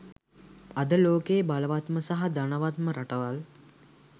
අද ලෝකයේ බලවත්ම සහ ධනවත්ම රටවල්